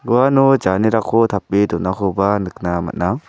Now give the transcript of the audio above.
uano janerako tape donakoba nikna man·a.